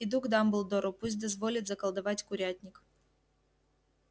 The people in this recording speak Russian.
иду к дамблдору пусть дозволит заколдовать курятник